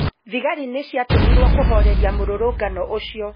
thigarĩ nĩ ciatũmirũo kũhooreria murũrũngano ucio.